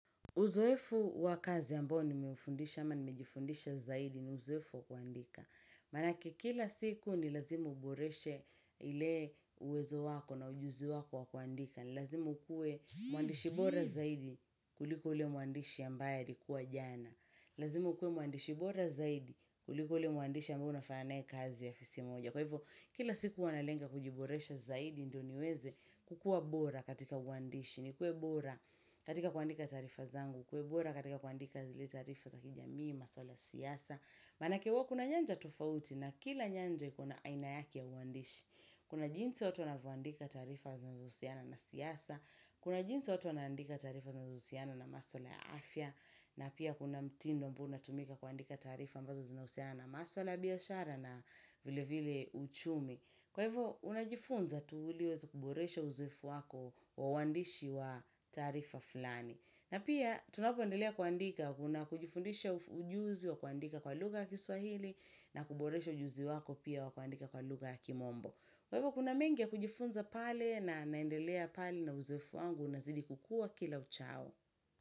Uzoefu wa kazi ambao ni mefundisha hama ni mefundisha zaidi ni uzoefu wa kuandika. Manake kila siku ni lazima uboreshe ile uwezo wako na ujuzi wako wa kuandika. Ni lazima ukuwe muandishi bora zaidi kuliko ule mwandishi ambayo alikua jana. Lazima ukue muandishi bora zaidi kuliko ule mwandishi ambayo unafanya nae kazi ya afisi moja. Kwa hivo kila siku uwanalenga kujiboresha zaidi ndo niweze kukua bora katika uandishi. Ni kuwe bora katika kuandika taarifa zangu, kuwebora katika kuandika zile taarifa zaki jamii, maswala siasa Maanake huwa kuna nyanja tofauti na kila nyanja iko na aina yake ya uandishi Kuna jinsi watu wanavoandika taarifa zinahusiana na siasa Kuna jinsi watu wanaandika taarifa zinazohusiana na maswala ya afya na pia kuna mitindo ambao una tumika kuandika taarifa ambazo zinahusiana na maswala biyashara na vile vile uchumi Kwa hivyo, unajifunza tu ili uweza kuboresha uzo uefu wako wawandishi wa taarifa fulani. Na pia, tunapoendelea kuandika kuna kujifundisha ujuzi wa kuandika kwa lugha ya kiswahili na kuboresha ujuzi wako pia wa kuandika kwa lugha ya kimombo. Kwa hivyo, kuna mengi ya kujifunza pale na naendelea pale na uzoefu wangu unazidi kukua kila uchao.